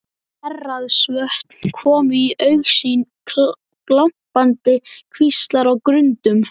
Héraðsvötn komu í augsýn, glampandi kvíslar á grundum.